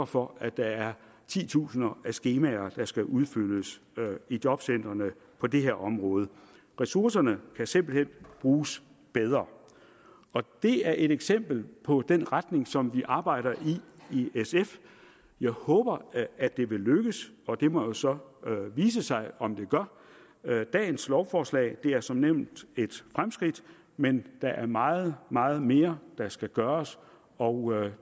for at der er titusinder af skemaer der skal udfyldes i jobcentrene på det her område ressourcerne kan simpelt hen bruges bedre det er et eksempel på den retning som vi arbejder i i sf jeg håber at det vil lykkes og det må jo så vise sig om det gør det dagens lovforslag er som nævnt et fremskridt men der er meget meget mere der skal gøres og